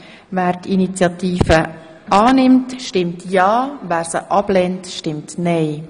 Wer die Initiative annimmt, stimmt ja, wer sie ablehnt, stimmt nein.